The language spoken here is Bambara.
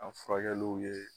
A furakɛluw ye